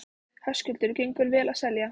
Höskuldur: Gengur vel að selja?